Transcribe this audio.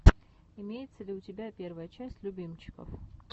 имеется ли у тебя первая часть любимчиков